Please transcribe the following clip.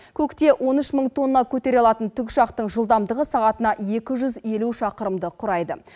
көкте он үш мың тонна көтере алатын тікұшақтың жылдамдығы сағатына екі жүз елу шақырымды құрайды